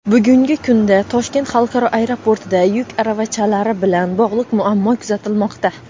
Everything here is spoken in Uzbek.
Bugungi kunda Toshkent xalqaro aeroportida yuk aravachalari bilan bog‘liq muammo kuzatilmoqda.